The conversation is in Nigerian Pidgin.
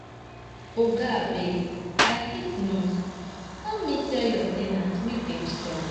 Oga abeg I hate noise help me tell your ten ants make dem stop